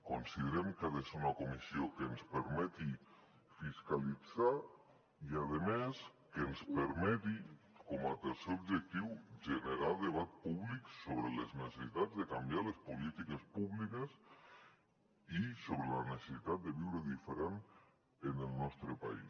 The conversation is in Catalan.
considerem que ha de ser una comissió que ens permeti fiscalitzar i a més que ens permeti com a tercer objectiu generar debat púbic sobre les necessitats de canviar les polítiques públiques i sobre la necessitat de viure diferent en el nostre país